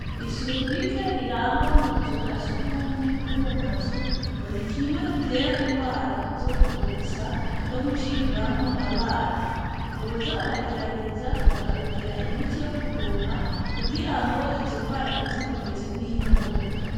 Isuku rike rirangwa mu buzu bwa sugumwe bwo mu mazu ngo n'ikimwe gitera ingwara zo kuvomisa no gucibwamwo abana ngo boza baragerageza ku rondera imiti yo gupompa ku girango izo ngwara ntizikomeze kwiha intumbi.